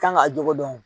Kan ka jogo dɔn